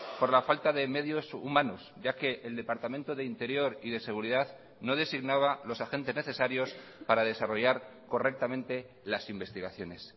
por la falta de medios humanos ya que el departamento de interior y de seguridad no designaba los agentes necesarios para desarrollar correctamente las investigaciones